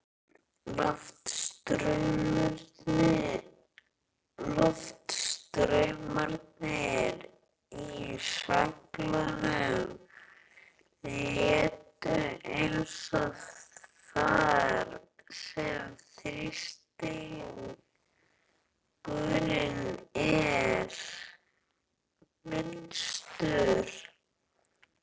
Loftstraumarnir í svelgnum leita inn þar, sem þrýstingurinn er minnstur.